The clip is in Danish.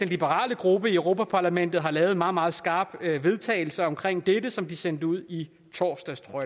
liberale gruppe i europa parlamentet har lavet en meget meget skarp vedtagelse omkring dette som de sendte ud i torsdags tror